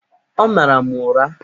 Ọ mara m ụra!